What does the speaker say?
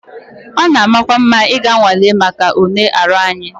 It is good to go for medical tests